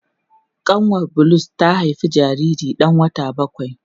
Kanwar Bulus ta haifi jariri dan wata bakwai.